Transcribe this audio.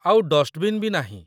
ଆଉ ଡଷ୍ଟବିନ୍ ବି ନାହିଁ।